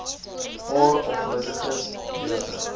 paar gelukkiges beurse